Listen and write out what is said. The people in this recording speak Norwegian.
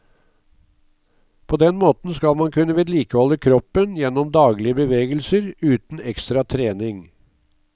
På den måten skal man kunne vedlikeholde kroppen gjennom daglige bevegelser uten ekstra trening.